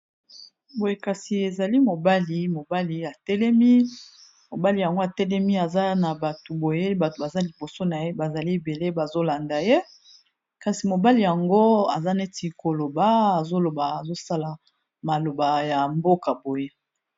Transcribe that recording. Boye kasi ezali mobali mobali ya telemi mobali yango atelemi aza na bato boye bato baza liboso na ye, bazali ebele bazolanda ye kasi mobali yango aza neti koloba azoloba azosala maloba ya mboka boye.